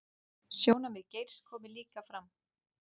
Sjónarmið Geirs komi líka fram